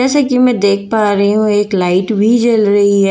जैसे कि मैं देख पा रही हूं एक लाइट भी जल रही है।